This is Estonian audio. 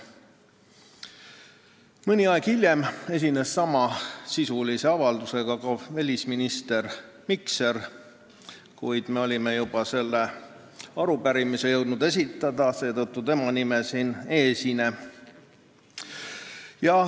Mõni aeg hiljem esines samasisulise avaldusega ka välisminister Mikser, kuid me olime juba jõudnud selle arupärimise esitada, seetõttu tema nime siin kirjas ei ole.